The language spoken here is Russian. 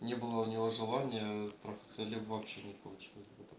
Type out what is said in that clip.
не было у него желания трахаться либо вообще не получилось